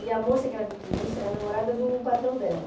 E a moça que era vitrinista era namorada do patrão dela.